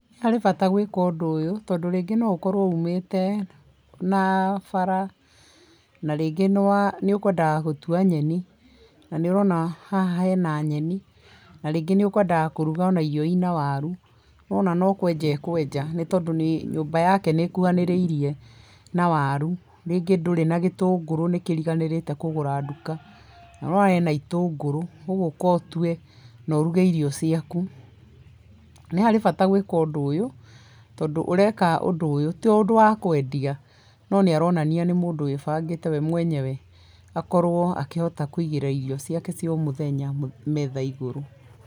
Nĩ harĩ bata gwĩka ũndũ ũyũ tondũ rĩngĩ no ũkorwo ũmĩte na bara, na rĩngĩ nĩ wa, nĩ ũkwendaga gũtua nyeni, na nĩ ũrona haha hena nyeni na rĩngĩ nĩ ũkwendaga kũruga irio ina warũ nĩũrona no kweja akweja tondũ nyũmba yake nĩ ĩkuhanĩrĩrie na waru, rĩngĩ ndũrĩ na gĩtũngũrũ, nĩ kĩriganĩrĩte kũgũra nduka, nĩ ũrona ena itũgũrũ ũgũka ũtue na ũruge irio ciaku. Nĩ harĩ bata gwĩka ũndũ ũyũ, tondũ ũreka ũndũ ũyũ to ũndũ wa kwendia no nĩ aronania nĩ mũndũ wĩbangĩte we mwenyewe akorwo akĩhota kũigĩrĩra irio ciake cĩa o mũthenya metha igũrũ.